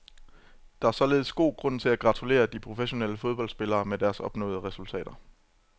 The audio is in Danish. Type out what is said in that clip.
Der er således god grund til at gratulere de professionelle fodboldspillere med deres opnåede resultater.